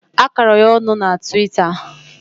A kọrọ ya ọnụ na tiwita.